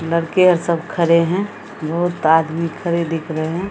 लड़के-अर सब खड़े हैं बहुत आदमी खड़े दिख रहे हैं।